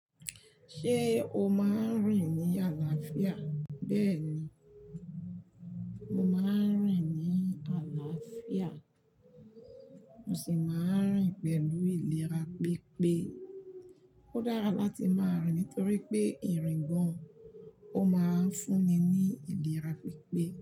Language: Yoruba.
Ṣé o máa ń rìn ní àlàáfíà? Bẹ́ẹ̀ni, mo máa ń rìn ní àlàáfíà mo sì máa ń rìn pẹ̀lú ìlera pípé. Ó dára láti máa rìn nítorí pé ìrìngàn ó máa ń fún ni ní ìlera pípé.